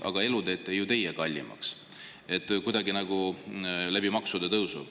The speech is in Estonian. Aga elu teete ju teie kallimaks maksude tõusu kaudu!